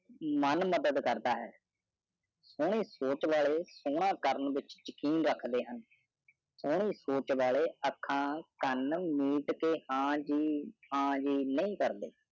ਮੈਂ ਮਦਦ ਕਰਦਾ ਹਾਂ ਸੋਹਰੀ ਸੋਚ ਵਾਲੀ ਸੋਹਰੀ ਕਰਨ ਤੈ ਯਕੀ ਰੱਖੜੀ ਆਂ ਸਹਾਰੀ ਸੂਸੇ, ਅਖਾ ਮੋਹ ਤੀ ਹਾਨ ਜੇ ਹਾਨ ਜੇ ਦਾ ਗਵਰਨਰ ਕੁਰਦਿਸ਼ ਹੈ